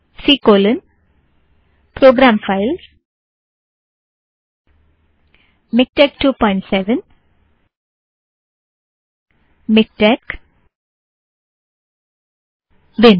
सी programfilesमिकटेक्स 27miktexबिन C colon program files MiKTeX 27 MiKTeX बिन